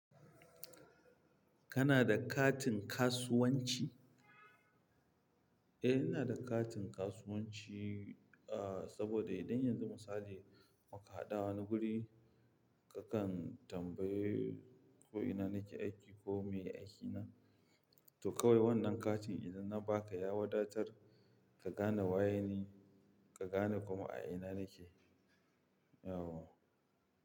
Kana da katin kasuwanci? Eh, ina da katin kasuwanci, ah, saboda idan yanzu misali muka haɗu wani guri, kakan tambayi ko ina nake aiki ko me aiki na. To kawai wannan katin idan na ba ka ya wadatar ka gane waye ni, ka gane kuma a ina nake, yawwa.